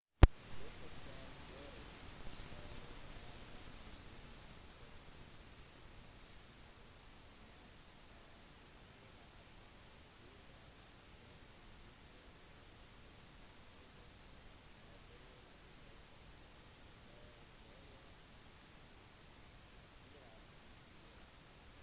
dette kan gjøres i en vanlig bil med forsiktig planlegging men en 4x4 er sterkt anbefalt og mange steder er bare tilrettelagt for høye 4x4